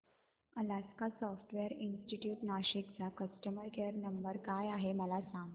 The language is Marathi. अलास्का सॉफ्टवेअर इंस्टीट्यूट नाशिक चा कस्टमर केयर नंबर काय आहे मला सांग